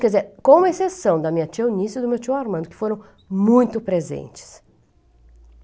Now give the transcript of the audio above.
Quer dizer, com exceção da minha tia Eunice e do meu tio Armando, que foram muito presentes.